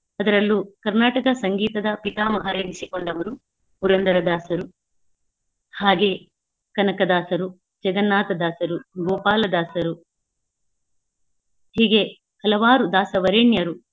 ಅದರಲ್ಲೂ ಕರ್ನಾಟಕ ಸಂಗೀತದ ಪಿತಾಮಹರೆನಿಸಿಕೊಂಡವರು ಪುರಂದರದಾಸರು ಹಾಗೆಯೇ ಕನಕದಾಸರು, ಜಗನ್ನಾಥ ದಾಸರು, ಗೋಪಾಲ ದಾಸರು ಹೀಗೆ ಹಲವಾರು ದಾಸವರೇಣ್ಯರು.